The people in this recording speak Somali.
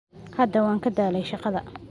Hadda waan ka daalay shaqada